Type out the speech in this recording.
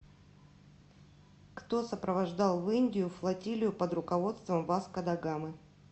кто сопровождал в индию флотилию под руководством васко да гамы